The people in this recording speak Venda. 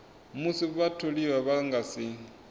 musi vhatholiwa vha nga si